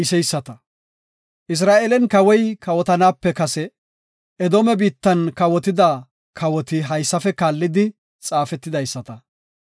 Isra7eelen Kawoy kawotanaape kase Edoome biittan kawotida kawoti haysafe kaallidi xaafetidaysata.